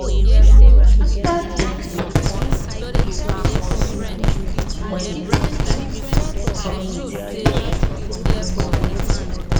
after dem retire some people dey use part of dia money take bless community take bless community people.